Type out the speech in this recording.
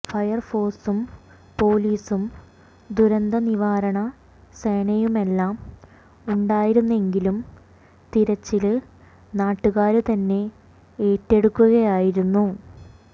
ഫയര്ഫോഴ്സും പൊലീസും ദുരന്തനിവാരണ സേനയുമെല്ലാം ഉണ്ടായിരുന്നെങ്കിലും തിരച്ചില് നാട്ടുകാര് തന്നെ ഏറ്റെടുക്കുകയായിരുന്നു